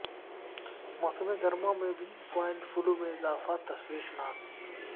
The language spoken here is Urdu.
موسم گرما میں بھی سوائن فلو میں اضافہ تشویشناک